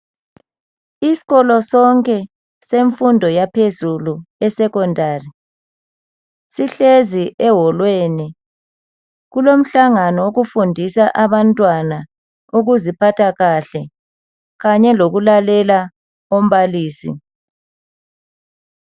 Isikolo sonke semfundo yaphezulu eSecondary sihlezi eholu kulomhlangano yemfundo yokuziphatha kahle kanye lokuhlonipha ababalisi.